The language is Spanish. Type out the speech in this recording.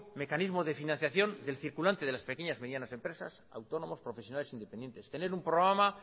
mecanismo de financiación del circulante de las pequeñas y medianas empresas autónomos profesionales independientes tener un programa